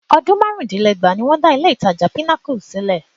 Ọdún márùn-úndínlẹ́gbàá ni wọ́n dá ilé-ìtajà Pinnacle sílẹ̀